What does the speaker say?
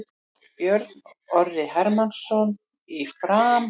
Björn Orri Hermannsson í Fram